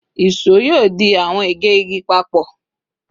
ìṣó yoo di awọn ege igi papọ